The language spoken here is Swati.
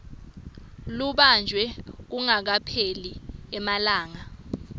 lubanjwe kungakapheli emalanga